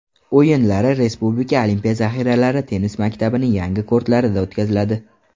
O‘yinlari Respublika olimpiya zaxiralari tennis maktabining yangi kortlarida o‘tkaziladi.